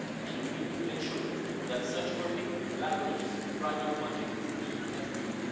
We need to ensure that such funding leverages private funding through investEU.